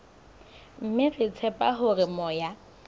mme re tshepa hore moya